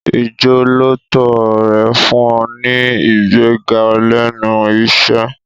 Ìjọ́lóòótọ́ rẹ̀ fún un ní ìgbéga lẹ́nu iṣẹ́.